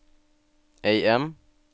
AM